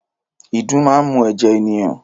Ìdun máa ń mu ẹ̀jẹ̀ ènìyàn.